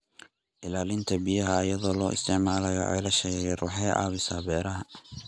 Ilaalinta biyaha iyadoo la isticmaalayo ceelasha yaryar waxay caawisaa beeraha.